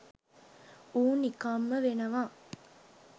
ඌ නිකම්ම වෙනවා.